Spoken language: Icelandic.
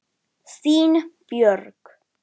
Þín Björg.